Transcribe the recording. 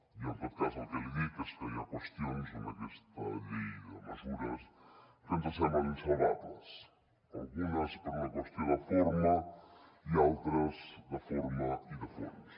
i en tot cas el que li dic és que hi ha qüestions en aquesta llei de mesures que ens semblen insalvables algunes per una qüestió de forma i altres de forma i de fons